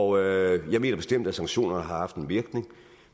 og jeg mener bestemt at sanktioner har haft en virkning